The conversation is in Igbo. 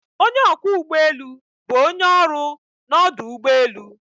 Onye ọkwọ ụgbọ elu bụ onye ọrụ n'ọdụ ụgbọ elu.